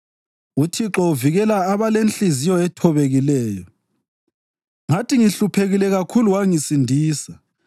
UThixo uvikela abalenhliziyo ethobekileyo; ngathi ngihluphekile kakhulu wangisindisa.